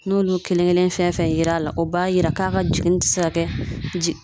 N'olu kelen kelen fɛn fɛn yera a la ,o b'a yira k'a ka jiginni tɛ se ka kɛ